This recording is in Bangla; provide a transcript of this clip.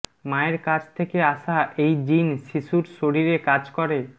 মায়ের কাছ থেকে আসা এই জিন শিশুর শরীরে কাজ করে